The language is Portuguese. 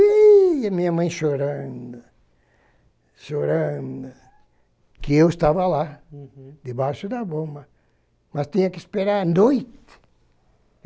E a minha mãe chorando, chorando, que eu estava lá. Uhum. Debaixo da bomba, mas tinha que esperar a noite.